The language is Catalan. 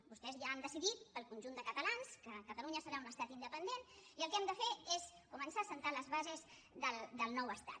vostès ja han decidit pel conjunt de catalans que catalunya serà un estat independent i el que hem de fer és començar a assentar les bases del nou estat